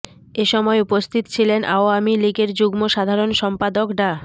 এ সময় উপস্থিত ছিলেন আওয়ামী লীগের যুগ্ম সাধারণ সম্পাদক ডা